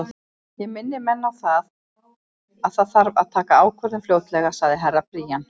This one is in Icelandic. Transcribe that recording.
Ég minni menn á að það þarf að taka ákvörðun fljótlega, sagði Herra Brian.